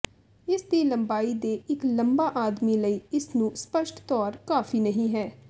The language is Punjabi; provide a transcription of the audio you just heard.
ਇਸ ਦੀ ਲੰਬਾਈ ਦੇ ਇੱਕ ਲੰਬਾ ਆਦਮੀ ਲਈ ਇਸ ਨੂੰ ਸਪਸ਼ਟ ਤੌਰ ਕਾਫ਼ੀ ਨਹੀ ਹੈ